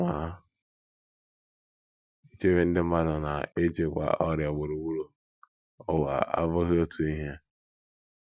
Ma, ichebe ndị mmadụ na ịchịkwa ọrịa gburugburu ụwa abụghị otu ihe.